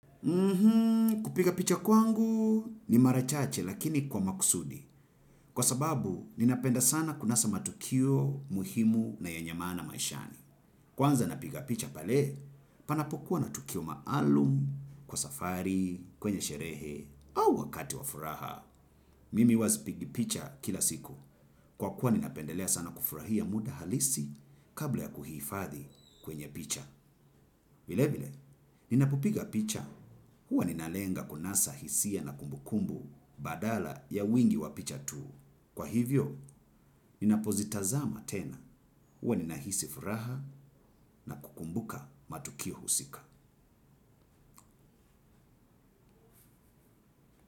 Kupiga picha kwangu ni marachache lakini kwa makusudi. Kwa sababu, ninapenda sana kunasa matukio muhimu na yenye mana maishani. Kwanza napiga picha pale, panapokuwa natukio maalum, kwa safari, kwenye sherehe, au wakati wafuraha. Mimi uwazipigipicha kila siku. Kwa kuwa ninapendelea sana kufurahia muda halisi kabla ya kuhifadhi kwenye picha. Vile vile, ninapopiga picha. Huwa ninalenga kunasa hisia na kumbukumbu badala ya wingi wapicha tu. Kwa hivyo, ninapozitazama tena. Huwa ninahisi furaha na kukumbuka matukio husika.